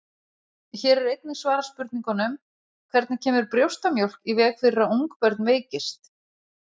Hér er einnig svarað spurningunum: Hvernig kemur brjóstamjólk í veg fyrir að ungbörn veikist?